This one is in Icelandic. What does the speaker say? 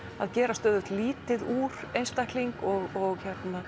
gera stöðugt lítið úr einstakling og